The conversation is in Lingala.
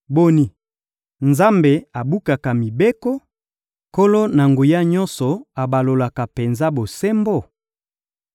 Boni, Nzambe abukaka mibeko, Nkolo-Na-Nguya-Nyonso abalolaka penza bosembo?